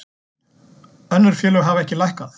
Önnur félög hafa ekki lækkað